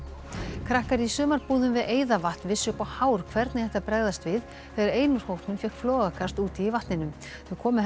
krakkar í sumarbúðum við vissu upp á hár hvernig ætti að bregðast við þegar ein úr hópnum fékk flogakast úti í vatninu þau komu henni